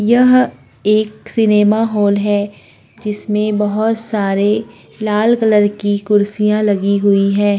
यह एक cinema hall है जिसमें बहुत सारे लाल कलर की कुर्सियां लगी हुई है।